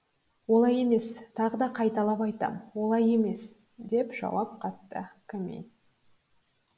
олай емес тағы да қайталап айтам олай емес деп жауап қатты комин